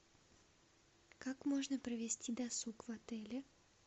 как можно провести досуг в отеле